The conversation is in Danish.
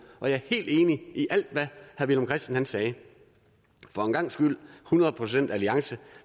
og jeg er helt enig i alt hvad herre villum christensen sagde for en gangs skyld hundrede procent alliance